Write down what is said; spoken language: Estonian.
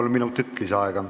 Kolm minutit lisaaega.